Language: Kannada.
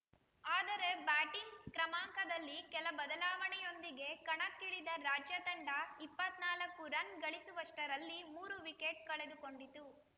ಆದರೆ ಬ್ಯಾಟಿಂಗ್‌ ಕ್ರಮಾಂಕದಲ್ಲಿ ಕೆಲ ಬದಲಾವಣೆಯೊಂದಿಗೆ ಕಣಕ್ಕಿಳಿದ ರಾಜ್ಯ ತಂಡ ಇಪ್ಪತ್ತ್ ನಾಲ್ಕು ರನ್‌ ಗಳಿಸುವಷ್ಟರಲ್ಲಿ ಮೂರು ವಿಕೆಟ್‌ ಕಳೆದುಕೊಂಡಿತು